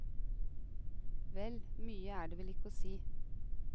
Vel, mye er det vel ikke å si.